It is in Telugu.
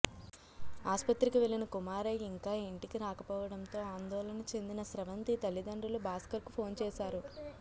ఆస్పత్రికి వెళ్లిన కుమారై ఇంకా ఇంటికి రాకపోవడంతో ఆందోళన చెందిన స్రవంతి తల్లిదండ్రులు భాస్కర్కు ఫోన్ చేశారు